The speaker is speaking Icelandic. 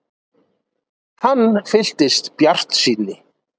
Hann fylltist bjartsýni.